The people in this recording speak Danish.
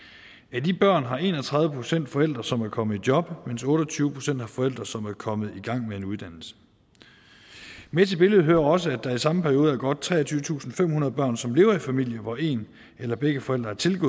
af de børn har en og tredive procent forældre som er kommet i job mens otte og tyve procent har forældre som er kommet i gang med en uddannelse med til billedet hører også at der i samme periode var godt treogtyvetusinde og femhundrede børn som levede i familier hvor en eller begge forældre tilgik